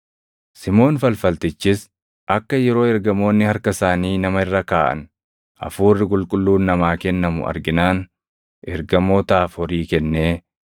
Simoon falfaltichis akka yeroo ergamoonni harka isaanii nama irra kaaʼan Hafuurri Qulqulluun namaa kennamu arginaan ergamootaaf horii kennee,